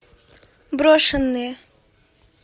брошенные